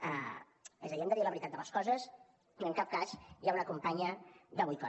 és a dir hem de dir la veritat de les coses i en cap cas hi ha una campanya de boicot